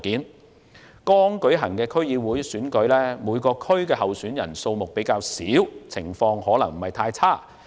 在剛舉行的區議會選舉，每個選區的候選人數目較少，有關情況可能不太嚴重。